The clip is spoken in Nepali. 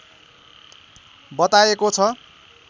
बताएको छ